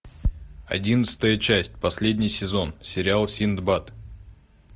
одиннадцатая часть последний сезон сериал синдбад